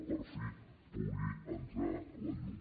que per fi hi pugui entrar la llum